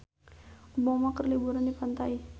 Obama keur liburan di pantai